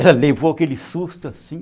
Ela levou aquele susto, assim.